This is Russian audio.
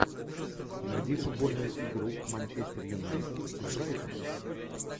найди футбольную игру манчестер юнайтед с брайтоном